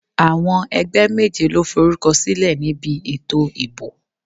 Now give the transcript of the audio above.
Àwọn ẹgbẹ́ méje ló forúkọ sílẹ̀ níbi ètò ìbò.